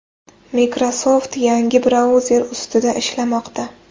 Microsoft yangi brauzer ustida ishlamoqda.